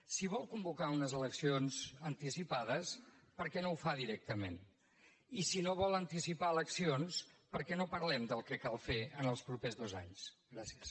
si vol convocar unes eleccions anticipades per què no ho fa directament i si no vol anticipar eleccions per què no parlem del que cal fer en els propers dos anys gràcies